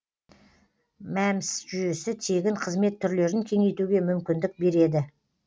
мәмс жүйесі тегін қызмет түрлерін кеңейтуге мүмкіндік береді